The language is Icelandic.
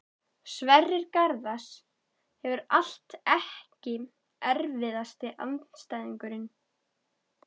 Sverrir Garðars hefur allt Ekki erfiðasti andstæðingur?